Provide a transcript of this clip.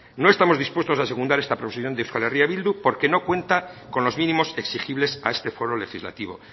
no estamos dispuestos secundar esta proposición de euskal herria bildu porque no cuenta con los mínimos exigibles a este foro legislativo